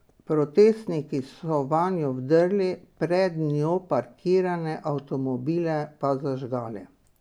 Protestniki so vanjo vdrli, pred njo parkirane avtomobile pa zažgali.